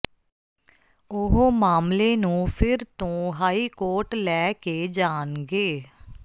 ਉਹ ਮਾਮਲੇ ਨੂੰ ਫਿਰ ਤੋਂ ਹਾਈਕੋਰਟ ਲੈ ਕੇ ਜਾਣਗੇ